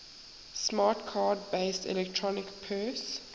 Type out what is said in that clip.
smart card based electronic purse